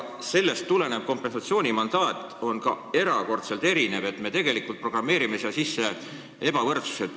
Sellest tulenev kompensatsioonimandaat on ka erakordselt erinev, st me tegelikult programmeerime siia sisse ebavõrduse.